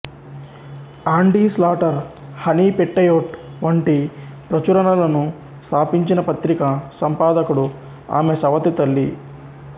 ఆండీ Slater Honey Petticoat వంటి ప్రచురణలను స్థాపించిన పత్రిక సంపాదకుడు ఆమె సవతి తల్లి